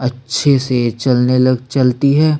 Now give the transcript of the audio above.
अच्छे से चलने लग चलती है।